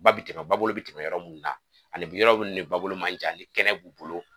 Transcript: Ba bi tɛmɛ ba bolo bi tɛmɛ yɔrɔ munnu na ,ani yɔrɔ munnu ni ba bolo man jan ni kɛnɛ b'u bolo.